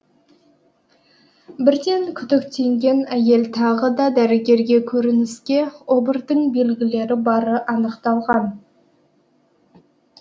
бірден күдіктенген әйел тағы да дәрігерге көрініске обырдың белгілері бары анықталған